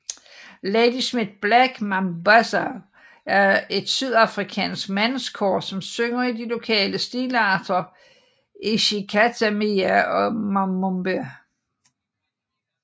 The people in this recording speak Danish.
Ladysmith Black Mambazo er et sydafrikansk mandskor som synger i de lokale stilarter isicathamiya og mbube